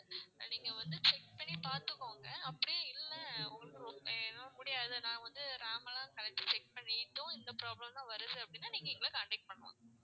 நீங்க வந்து check பண்ணி பார்த்துகோங்க அப்படியும் இல்ல உங்களுக்கு ரொம்ப இல்ல என்னால முடியாது நான் வந்து RAM எல்லாம் கழட்டி check பண்ணிட்டும் இந்த problem தான் வருது அப்படின்னா நீங்க எங்களை contact பண்ணலாம்.